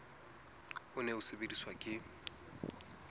o ne o sebediswa ke